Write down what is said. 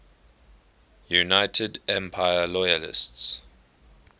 united empire loyalists